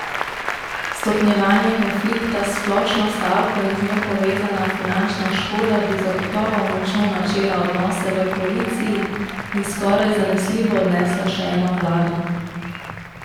Stopnjevanje konflikta s splošno stavko in z njo povezana finančna škoda bi zagotovo močno načela odnose v koaliciji in skoraj zanesljivo odnesla še eno vlado.